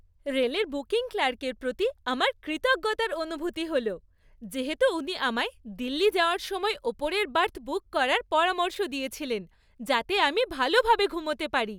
রেলের বুকিং ক্লার্কের প্রতি আমার কৃতজ্ঞতার অনুভূতি হল যেহেতু উনি আমায় দিল্লি যাওয়ার সময় ওপরের বার্থ বুক করার পরামর্শ দিয়েছিলেন যাতে আমি ভালোভাবে ঘুমোতে পারি।